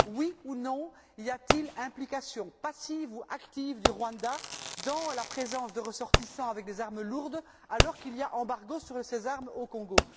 Oui ou non, y a t il implication passive ou active du Rwanda dans la présence de ressortissants avec des armes lourdes alors qu'il y a embargo sur ces armes au Congo?